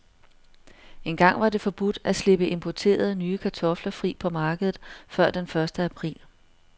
Engang var det forbudt at slippe importerede, nye kartofler fri på markedet før den første april.